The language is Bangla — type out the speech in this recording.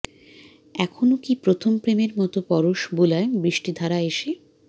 এখনো কি প্রথম প্রেমের মতো পরশ বুলায় বৃস্টিধারা এসে